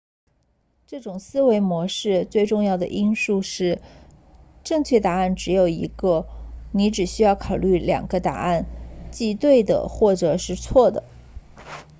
这种思维模式最重要的因素是正确答案只有一个你只需考虑两个答案即对的或者是错的